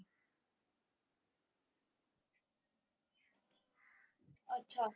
ਅੱਛਾ।